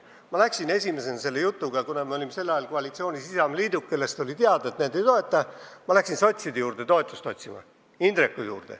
Ma läksin esimesena selle jutuga – me olime sel ajal koalitsioonis Isamaaliiduga, kelle kohta oli teada, et nad seda ei toeta – sotside juurde, Indreku juurde, toetust otsima.